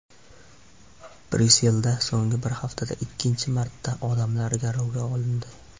Bryusselda so‘nggi bir haftada ikkinchi marta odamlar garovga olindi.